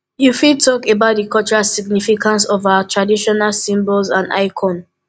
you fit talk about di cultural significance of our traditional symbols and icons